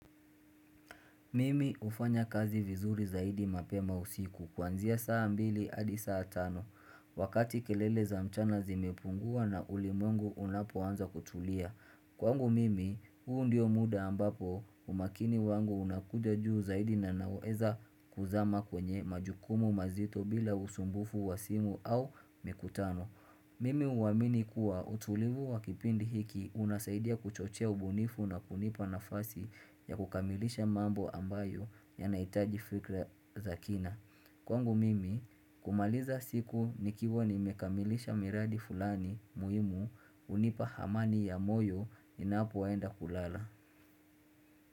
Mimi hufanya kazi vizuri zaidi mapema usiku kuanzia saa mbili hadi saa tano wakati kelele za mchana zimepungua na ulimwengu unapoanza kutulia. Kwangu mimi, huu ndio muda ambapo umakini wangu unakuja juu zaidi na naweza kuzama kwenye majukumu mazito bila usumbufu wa simu au mikutano. Mimi huamini kuwa utulivu wa kipindi hiki unasaidia kuchochea ubunifu na kunipa nafasi ya kukamilisha mambo ambayo ya nahitaji fikra za kina. Kwangu mimi, kumaliza siku nikiwa nimekamilisha miradi fulani muhimu hunipa amani ya moyo ninapoenda kulala.